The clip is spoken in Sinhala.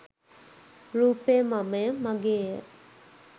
රූපය මමය, මගේය,